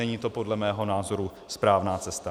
Není to podle mého názoru správná cesta.